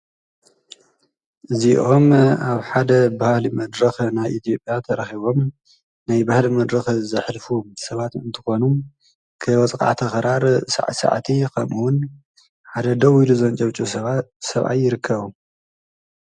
እዚኦም አብ ሓደ ባህሊ መድረኽ ናይ ኢትዮጵያ ተረኺቦም ናይ ባህሊ መድረኽ ዘሕልፉ ሰባት እንትኮኑ ወቃዕቲ ክራር ሳዕሳዕቲ ኸምኡ ዉን ሓደ ደዉ ኢሉ ዘንጨብጭብ ሰብአይ ይርከቦም ።